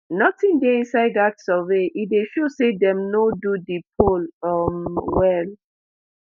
nothing dey inside dat survey e dey show say dem no do di poll um well